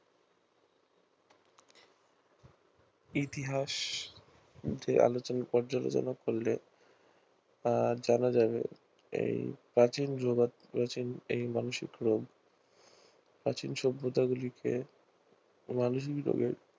ইতিহাস দিয়ে আলোচনা পর্যালোচনা করলে জানা যাবে এই প্রাচীন এই মানসিক রোগ প্রাচীন সভ্যতা গুলিকে